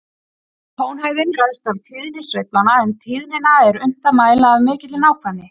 Tónhæðin ræðst af tíðni sveiflanna, en tíðnina er unnt að mæla af mikilli nákvæmni.